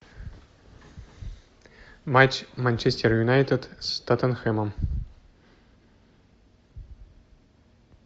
матч манчестер юнайтед с тоттенхэмом